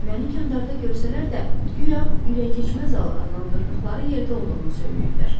Məni kəndarda görsələr də, guya ürəyikeçməz zal adlandırdıqları yerdə olduğumu söyləyirlər.